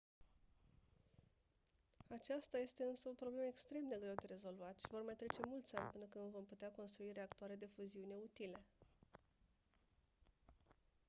aceasta este însă o problemă extrem de greu de rezolvat și vor mai trece mulți ani până când vom putea construi reactoare de fuziune utile